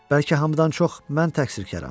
Bəlkə hamıdan çox mən təqsirkaram.